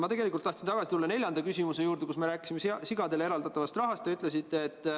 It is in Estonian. Ma tegelikult tahtsin tulla tagasi neljanda küsimuse juurde, milles me rääkisime sigadele eraldatavast rahast.